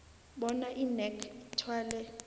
bona inac ithwale